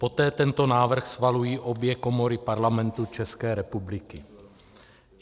Poté tento návrh schvalují obě komory Parlamentu České republiky.